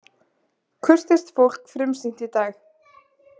Kurteist fólk frumsýnt í dag